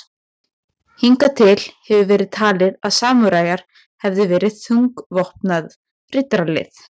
Hingað til hefur verið talið að samúræjar hefðu verið þungvopnað riddaralið.